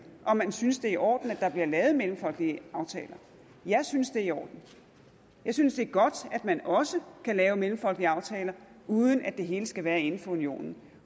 om man synes det er i orden at der bliver lavet mellemfolkelige aftaler jeg synes det er i orden jeg synes det er godt at man også kan lave mellemfolkelige aftaler uden at det hele skal være inden for unionen